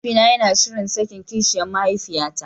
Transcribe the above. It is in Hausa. Mahaifina yana shirin sakin kishiyan mahaifiyata.